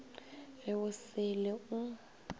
be go se le o